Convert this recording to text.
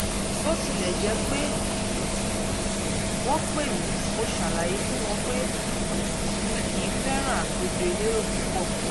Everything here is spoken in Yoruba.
bó tilẹ̀ jẹ́ pé wọ́n pè mí mo ṣàlàyé fún wọn pé mi kìí fẹ́ràn àpèjọ elérò púpọ̀